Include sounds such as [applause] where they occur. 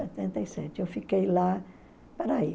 [unintelligible] e sete. Eu fiquei lá... Espera aí.